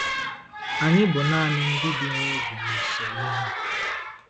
Anyị bụ nanị “ndị bi nwa oge” n’usoro ihe a.